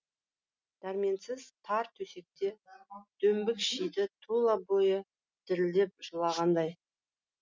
дәрменсіз тар төсекте дөңбекшиді тұла бойы дірілдеп жылағандай